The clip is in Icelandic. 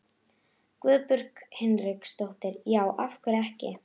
Guðbjörg Hinriksdóttir: Já, af hverju ekki?